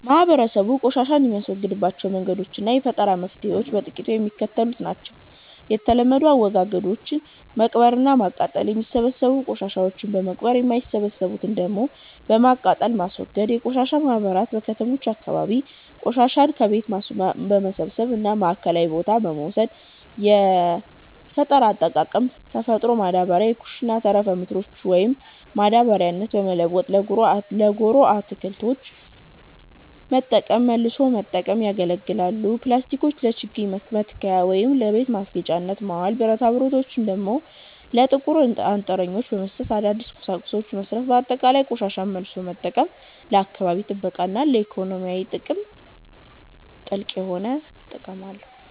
ማህበረሰቡ ቆሻሻን የሚያስወግድባቸው መንገዶችና የፈጠራ መፍትሔዎች በጥቂቱ የሚከተሉት ናቸው፦ የተለመዱ አወጋገዶች፦ መቅበርና ማቃጠል፦ የሚበሰብሱ ቆሻሻዎችን በመቅበር፣ የማይበሰብሱትን ደግሞ በማቃጠል ማስወገድ። የቆሻሻ ማህበራት፦ በከተሞች አካባቢ ቆሻሻን ከቤት በመሰብሰብ ወደ ማዕከላዊ ቦታ መውሰድ። የፈጠራ አጠቃቀም፦ ተፈጥሮ ማዳበሪያ፦ የኩሽና ተረፈ ምርቶችን ወደ ማዳበሪያነት በመለወጥ ለጓሮ አትክልት መጠቀም። መልሶ መጠቀም፦ ያገለገሉ ፕላስቲኮችን ለችግኝ መትከያ ወይም ለቤት ማስጌጫነት ማዋል፤ ብረታብረቶችን ደግሞ ለጥቁር አንጥረኞች በመስጠት አዳዲስ ቁሳቁሶችን መሥራት። ባጠቃላይ፣ ቆሻሻን መልሶ መጠቀም ለአካባቢ ጥበቃና ለኢኮኖሚ ትልቅ ጥቅም አለው።